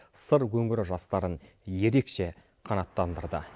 сыр өңірі жастарын ерекше қанаттандырды